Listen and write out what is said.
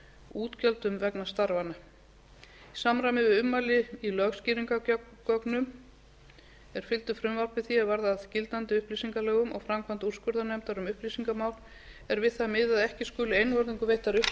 útgjöldum vegna starfanna í samræmi við ummæli í lögskýringargögnum er fylgdu frumvarpi því er varð að gildandi upplýsingalögum og framkvæmd úrskurðarnefndar um upplýsingamál er við það miðað að ekki skuli einvörðungu veittar upplýsingar um föst